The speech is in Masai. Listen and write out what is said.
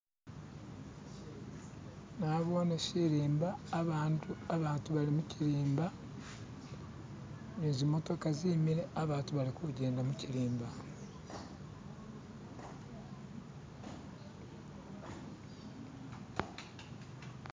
Nabone shilimba, abantu bali mu shilimba. Ni zimotoka zimile. Abantu balikujenda mu shilimba